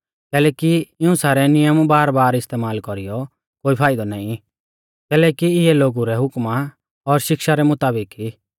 कैलैकि इऊं सारै नियम बारबार इस्तेमाल कौरीयौ कोई फाइदौ नाईं कैलैकि इऐ लोगु रै हुकमा और शिक्षा रै मुताबिक ई